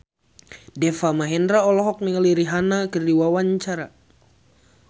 Deva Mahendra olohok ningali Rihanna keur diwawancara